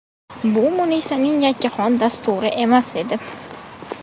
Bu Munisaning yakkaxon dasturi emas edi.